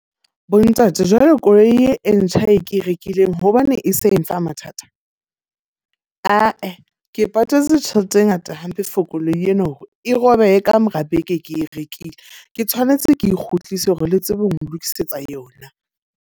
Bo ntate jwale koloi e ntjha e ke e rekileng hobane e se e mfa mathata? Ah-eh, ke patetse tjhelete e ngata hampe for koloi ena hore e robehe ka mora beke ke e rekile. Ke tshwanetse ke e kgutlise hore le tsebe ho nlokisetsa yona.